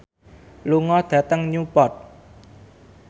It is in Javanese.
lunga dhateng Newport